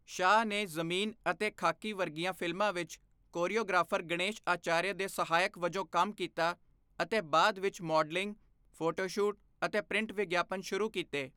ਸ਼ਾਹ ਨੇ 'ਜ਼ਮੀਨ' ਅਤੇ 'ਖਾਕੀ' ਵਰਗੀਆਂ ਫਿਲਮਾਂ ਵਿੱਚ ਕੋਰੀਓਗ੍ਰਾਫਰ ਗਣੇਸ਼ ਆਚਾਰੀਆ ਦੇ ਸਹਾਇਕ ਵਜੋਂ ਕੰਮ ਕੀਤਾ ਅਤੇ ਬਾਅਦ ਵਿੱਚ ਮਾਡਲਿੰਗ, ਫੋਟੋਸ਼ੂਟ ਅਤੇ ਪ੍ਰਿੰਟ ਵਿਗਿਆਪਨ ਸ਼ੁਰੂ ਕੀਤੇ।